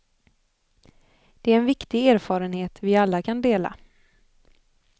Det är en viktig erfarenhet vi alla kan dela.